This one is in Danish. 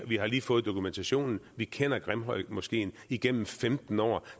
vi har lige fået dokumentationen vi kender grimhøjmoskeen igennem femten år